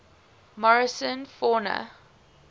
morrison fauna